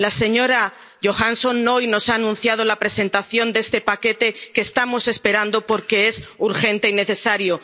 La señora Johansson hoy nos ha anunciado la presentación de este paquete, que estamos esperando, porque es urgente y necesario.